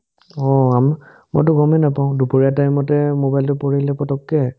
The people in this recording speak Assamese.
অ, আম মইটো গমে নাপাও দুপৰীয়া time তে মোবাইলটো পৰিলে পতককে